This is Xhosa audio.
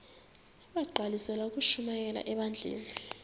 bagqalisele ukushumayela ebandleni